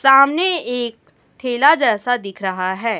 सामने एक ठेला जैसा दिख रहा है।